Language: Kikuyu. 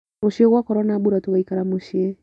Rũcio gwakorwo na mbura tũgaikara mũciĩ.